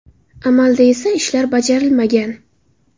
Amalda esa ishlar bajarilmagan.